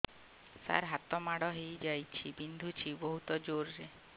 ସାର ହାତ ମାଡ଼ ହେଇଯାଇଛି ବିନ୍ଧୁଛି ବହୁତ ଜୋରରେ